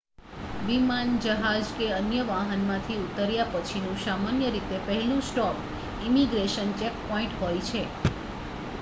વિમાન જહાજ કે અન્ય વાહનમાંથી ઉતર્યા પછીનું સામાન્ય રીતે પહેલું સ્ટૉપ ઇમિગ્રેશન ચેકપૉઇન્ટ હોય છે